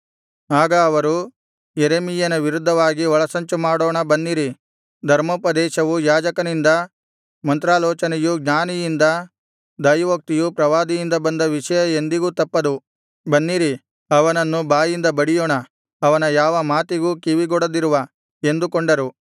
ಆಗ ಅವರು ಯೆರೆಮೀಯನ ವಿರುದ್ಧವಾಗಿ ಒಳಸಂಚು ಮಾಡೋಣ ಬನ್ನಿರಿ ಧರ್ಮೋಪದೇಶವು ಯಾಜಕನಿಂದ ಮಂತ್ರಾಲೋಚನೆಯು ಜ್ಞಾನಿಯಿಂದ ದೈವೋಕ್ತಿಯು ಪ್ರವಾದಿಯಿಂದ ಬಂದ ವಿಷಯ ಎಂದಿಗೂ ತಪ್ಪದು ಬನ್ನಿರಿ ಅವನನ್ನು ಬಾಯಿಂದ ಬಡಿಯೋಣ ಅವನ ಯಾವ ಮಾತಿಗೂ ಕಿವಿಗೊಡದಿರುವ ಎಂದುಕೊಂಡರು